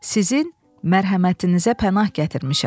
Sizin mərhəmətinizə pənah gətirmişəm.